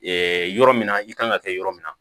yɔrɔ min na i kan ka kɛ yɔrɔ min na